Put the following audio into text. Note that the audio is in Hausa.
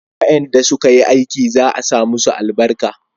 wayanda su ka yi aikin za a sa musu albarka